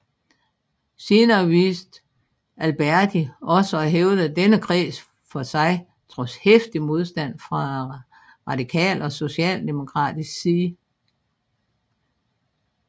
Senere vidste Alberti også at hævde denne kreds for sig trods heftig modstand fra radikal og socialdemokratisk side